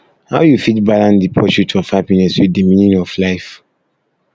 how you fit balance di pursuit of happiness with di meaning of life